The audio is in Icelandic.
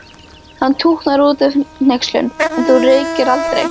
Hann tútnar út af hneykslun: En þú reykir aldrei!